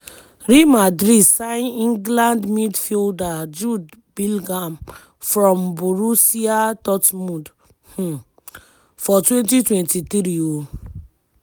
real madrid sign england midfielder jude bellingham from borussia dortmund um for 2023. um